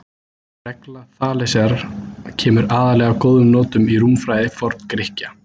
Regla Þalesar kemur aðallega að góðum notum í rúmfræði Forngrikkja.